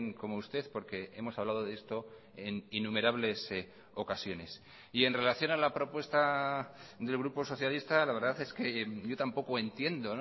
como usted porque hemos hablado de esto en innumerables ocasiones y en relación a la propuesta del grupo socialista la verdad es que yo tampoco entiendo